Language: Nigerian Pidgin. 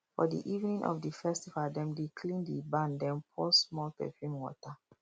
for the evening of the festival dem dey clean the barn then pour small perfume water